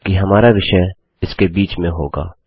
जबकि हमारा विषय इसके बीच में होगा